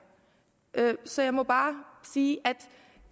så jeg må bare sige